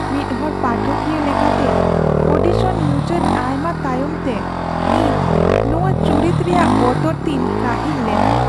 ᱢᱤᱫ ᱦᱚᱲ ᱯᱟᱴᱷᱚᱠᱤᱭᱟᱹ ᱞᱮᱠᱟᱛᱮ, ᱳᱰᱤᱥᱚᱱ ᱢᱩᱪᱟᱹᱫ ᱟᱭᱢᱟ ᱛᱟᱭᱚᱢ ᱛᱮ , ᱤᱧ ᱱᱚᱣᱟ ᱪᱩᱨᱤᱛ ᱨᱮᱭᱟᱜ ᱵᱚᱛᱚᱨ ᱛᱤᱧ ᱠᱟᱹᱦᱤᱞ ᱞᱮᱱᱟ ᱾